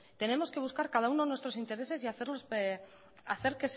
tenemos que buscar cada uno nuestros intereses y hacer